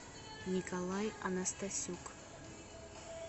николай анастасюк